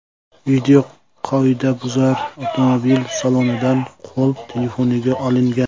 Video qoidabuzar avtomobil salonidan qo‘l telefoniga olingan.